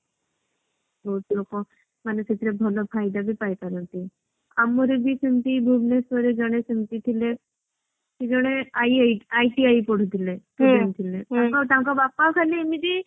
ବହୁତ ଲୋକ ମାନେ ସେଥିରେ ଭଲ ଫାଇଦା ବି ପାଇପାରନ୍ତି। ଆମର ବି ସେମିତି ଭୁବନେଶ୍ବରରେ ଜେନ ସେମତି ଥିଲେ ସେ ଜେନ II ICI ପଢୁଥିଲେ। ତାଙ୍କ ବାପା ଖାଲି ଏମିତି